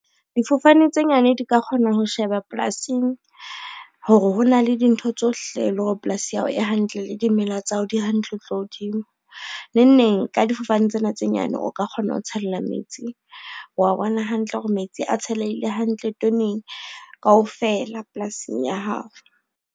Difofane tse nyane di ka kgona ho sheba polasing, hore hona le dintho tsohle le hore polasi ya hao e hantle le dimela tsa hao di hantle ho tloha hodimo. Neng neng ka difofane tsena tse nyane, o ka kgona ho tshela metsi wa bona hantle hore metsi a tshelehile hantle toneng kaofela polasing ya hao.